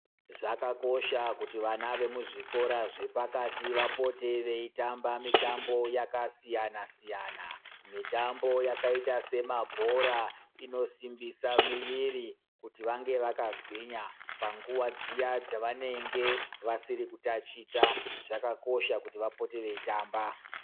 Zvakakosha kuti vana vemuzvikora zvepakati vapote veitamba mitambo yakasiyana siyana. Mitambo yakaita semabhora inosimbisa muviri kuti vange vakagwinya. Panguwa dziya dzavanenge vasiri kutaticha zvakakosha kuti vange veitamba.